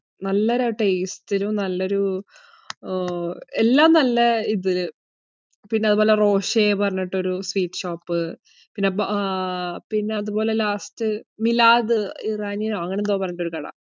നല്ല ഒരു taste ഇലും, നല്ല ഒരു, എല്ലാം നല്ല ഇതിൽ. പിന്നെ അതുപോലെ റോഷെ എന്ന് പറയുന്ന ഒരു sweet shop. പിന്നെ അതുപോലെ last മീലാദ് ഇറാനിയനോ അങ്ങനെ എന്തോ പറഞ്ഞിട്ടു ഒരു കട.